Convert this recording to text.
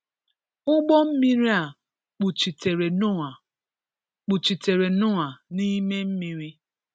Ụgbọ mmiri a kpuchitere Noah kpuchitere Noah n'ime mmiri.